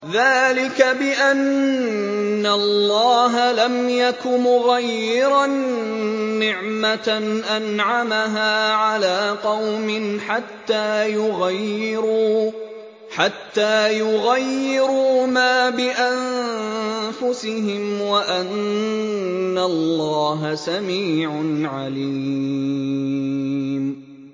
ذَٰلِكَ بِأَنَّ اللَّهَ لَمْ يَكُ مُغَيِّرًا نِّعْمَةً أَنْعَمَهَا عَلَىٰ قَوْمٍ حَتَّىٰ يُغَيِّرُوا مَا بِأَنفُسِهِمْ ۙ وَأَنَّ اللَّهَ سَمِيعٌ عَلِيمٌ